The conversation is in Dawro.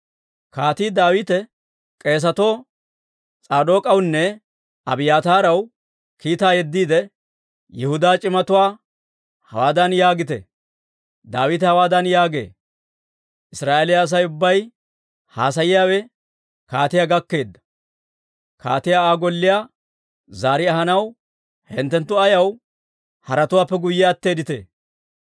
Kaatii Daawite k'eesatoo S'aadook'awunne Abiyaataaraw kiitaa yeddiide, «Yihudaa c'imatuwaa hawaadan yaagite; ‹Daawite hawaadan yaagee; «Israa'eeliyaa Asay ubbay haasayiyaawe kaatiyaa gakkeedda. Kaatiyaa Aa golliyaa zaari ahanaw hinttenttu ayaw haratuwaappe guyye attiitee?